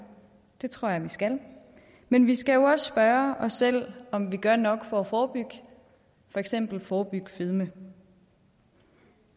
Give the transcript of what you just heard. det tror jeg der skal men vi skal også spørge os selv om vi gør nok for at forebygge for eksempel forebygge fedme